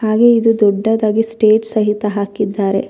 ಹಾಗೆ ಇದು ದೊಡ್ಡದಾಗಿ ಸ್ಟೇಜ್ ಸಹಿತ ಹಾಕಿದ್ದಾರೆ.